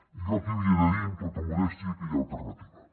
i jo aquí havia de dir amb tota modèstia que hi ha alternativa